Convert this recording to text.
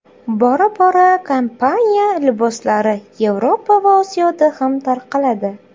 Bora-bora kompaniya liboslari Yevropa va Osiyoda ham tarqaladi.